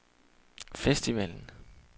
festivalen